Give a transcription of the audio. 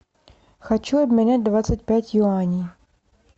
хочу обменять двадцать пять юаней